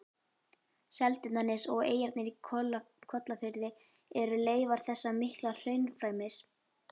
Seltjarnarnes og eyjarnar í Kollafirði eru leifar þessa mikla hraunflæmis.